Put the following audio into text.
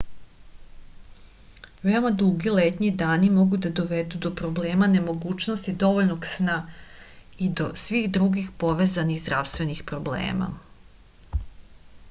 veoma dugi letnji dani mogu da dovedu do problema nemogućnosti dovoljnog sna i do svih drugih povezanih zdravstvenih problema